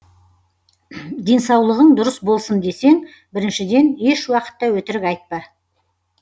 денсаулығың дұрыс болсын десең біріншіден ешуақытта өтірік айтпа